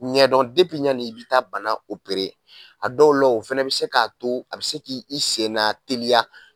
Ɲɛdɔn yani i bɛ taa bana a dɔw la o fana bɛ se k'a to a bɛ se k' i senna teliya